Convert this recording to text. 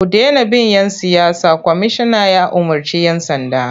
Ku dena bin ‘yan siyasa! Kwamishinan ya umarci 'yan sanda.